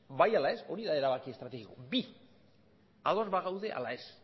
bai ala ez hori da erabaki estrategikoa bi ados badaude ala ez